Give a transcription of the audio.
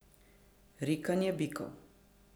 Rikanje bikov.